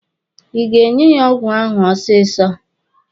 Ị ga-enye ya ọgwụ ahụ ọsịsọ!